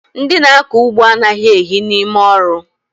Ndị na-akọ ugbo anaghị ehi n'ime ọrụ